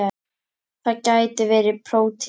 Það gætu verið prótín.